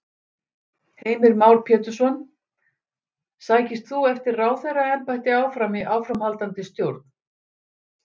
Heimir Már Pétursson: Sækist þú eftir ráðherraembætti áfram í áframhaldandi stjórn?